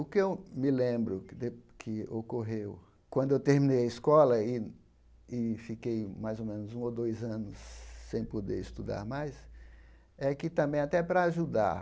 O que eu me lembro que de que ocorreu quando eu terminei a escola e e fiquei mais ou menos um ou dois anos sem poder estudar mais, é que também até para ajudar,